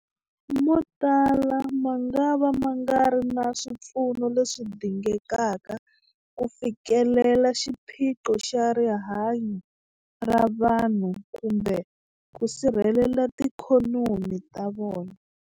Motala mangava ma nga ri na swipfuno leswi dingekaka ku fikelela xiphiqo xa rihanyu ra vanhu kumbe ku sirhelela tiikhonomi ta vona.